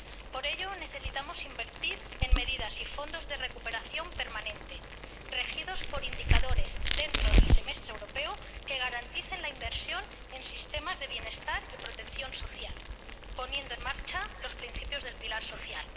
Por ello, necesitamos invertir en medidas y fondos de recuperación permanente, regidos por indicadores, dentro del Semestre Europeo, que garanticen la inversión en sistemas de bienestar y protección social, poniendo en marcha los principios del pilar social.